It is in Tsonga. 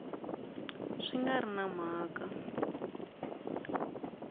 swi nga ri na mhaka